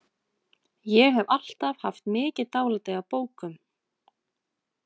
Ég hef alltaf haft mikið dálæti á bókum.